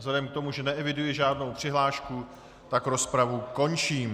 Vzhledem k tomu, že neeviduji žádnou přihlášku, tak rozpravu končím.